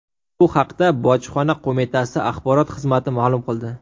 Bu haqda Bojxona qo‘mitasi axborot xizmati ma’lum qildi.